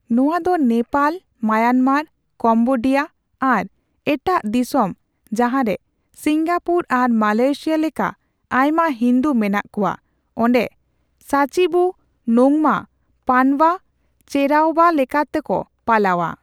ᱱᱚᱣᱟ ᱫᱚ Nepal, Myanmar, Cambodia ᱟᱨ ᱮᱴᱟᱜ ᱫᱤᱥᱚᱢ ᱡᱟᱦᱟᱸᱨᱮ ᱥᱤᱝᱜᱟᱯᱩᱨ ᱟᱨ ᱢᱟᱞᱚᱭᱮᱥᱤᱭᱟ ᱞᱮᱠᱟ ᱟᱭᱢᱟ ᱦᱤᱱᱫᱩ ᱢᱮᱱᱟᱜ ᱠᱚᱣᱟ ᱚᱸᱰᱮ ᱥᱟᱪᱤᱵᱩ ᱱᱳᱝᱢᱟ ᱯᱟᱱᱵᱟ ᱪᱮᱨᱟᱣᱵᱟ ᱞᱮᱠᱟᱛᱮᱠᱚ ᱯᱟᱞᱟᱣᱟ ᱾